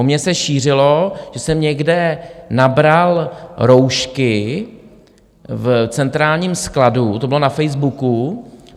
O mně se šířilo, že jsem někde nabral roušky v centrálním skladu, to bylo na Facebooku.